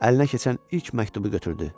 Əlinə keçən ilk məktubu götürdü.